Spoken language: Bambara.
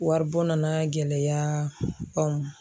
Waribɔ nana gɛlɛya anw